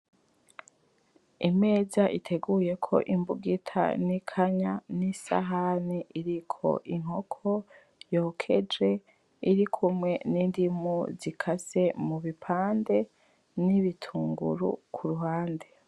Imeza iteguyeko Imbugita, n'Ikanya ,n'Isahani. Iriko Inkoko yokeje irikumwe n'Indimu zikase mubipande, n'Ibitunguru kuruhande.